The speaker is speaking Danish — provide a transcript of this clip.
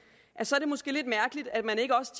så er det måske lidt mærkeligt at man ikke også